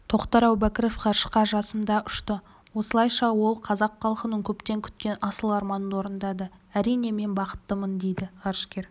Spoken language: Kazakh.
тоқтар әубәкіров ғарышқа жасында ұшты осылайша ол қазақ халқының көптен күткен асыл арманын орындады әрине мен бақыттымын дейді ғарышкер